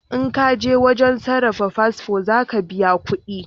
In kaje wajen sarrafa fasfo za ka biya kudi